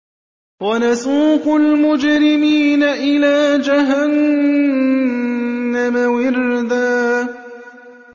وَنَسُوقُ الْمُجْرِمِينَ إِلَىٰ جَهَنَّمَ وِرْدًا